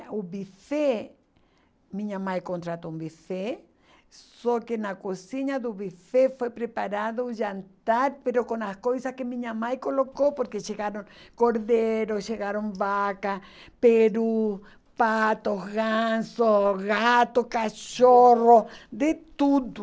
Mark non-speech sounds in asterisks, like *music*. O buffet, minha mãe contratou um buffet, só que na cozinha do buffet foi preparado o jantar, *unintelligible* com as coisas que minha mãe colocou, porque chegaram cordeiro, chegaram vaca, peru, pato, ganso, gato, cachorro, de tudo.